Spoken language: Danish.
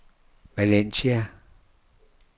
Valencia